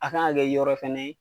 A kan ka kɛ yɔrɔ fana ye.